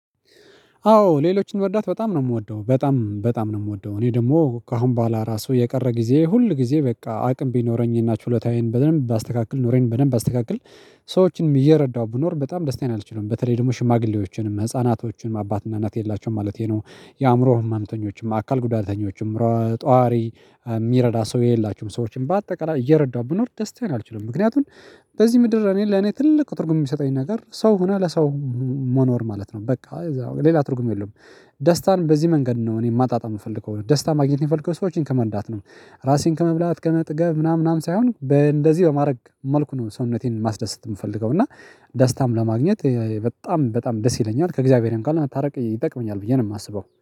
አዎ ሌሎችን መርዳት በጣም ነው እምወደው በጣም በጣም ነው እምወደው እኔ ደግሞ ከአሁን በኋላ ራሱ የቀረ ጊዜ ሁል ጊዜ በቃ አቅም ቢኖረኝ እና ችሎታዬን በደንብ ባስተካክል ኑሮዬን በደንብ ባስተካክል። ሰዎችንም እየረዳሁ ብኖር በጣም ደስታዬን አልችልም በተለይ ደግሞ ሽማግሌዎችንም ህፃናቶችንም አባትና እናት የሌላቸውን ማለቴ ነው። የአእምሮ ህመምተኞችም አካል ጉዳተኞችም ጧሪ እሚረዳ ሰው የሌላችሁም ሰዎችን በአጠቃላይ እየረዳሁ ብኖር ደስታዬን አልችልም። ምክንያቱን በዚህ ምድር እኔ ለኔ ትልቅ ትርጉም የሚሰጠኝ ነገር ሰው ሆና ለሰው መኖር ማለት ነው በቃ ሌላ ትርጉም የለም። ደስታን በዚህ መንገድ ነው እኔ ማጣጣም እምፈልገው ደስታ ማግኘት የምፈልገው ሰዎችን ከመርዳት ነው። ራሴን ከመብላት ከመጥገብ ምናምን ምናምን ሳይሆን በእንደዚህ በማድረግ መልኩ ነው ሰውነቴን ማስደሰት የምፈልገው እና። ደስታም ለማግኘት በጣም በጣም ደስ ይለኛል ከእግዚአብሔርም ካለ ለመታርቅ ይጠቅመኛል ብዬ ነው የማስበው